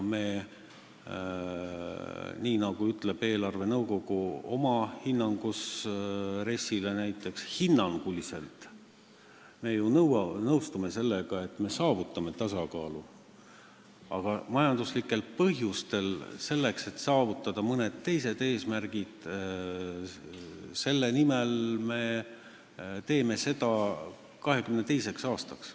Nii nagu ütleb eelarvenõukogu oma hinnangus RES-ile, näiteks hinnanguliselt me ju nõustume sellega, et me saavutame tasakaalu, aga majanduslikel põhjustel, selleks et saavutada mõned teised eesmärgid, me teeme seda 2022. aastaks.